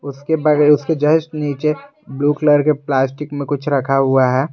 उसके उसके जस्ट नीचे ब्लू कलर के प्लास्टिक में कुछ रखा हुआ है।